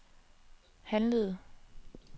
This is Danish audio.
handlede